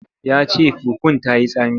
Ya ce fufun ta yi tsami.